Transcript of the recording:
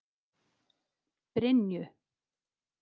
Brynju